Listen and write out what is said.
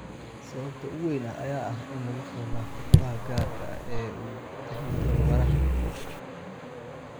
Sababta ugu weyn ayaa ah in lagu soo laabto kabaha gaarka ah ee uu ku taliyay tababaraha.